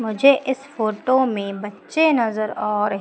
मुझे इस फोटो में बच्चे नजर आ रहे--